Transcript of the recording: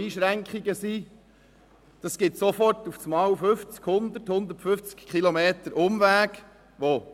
Sofort ergeben sich Umwege von 100 bis 150 Kilometern.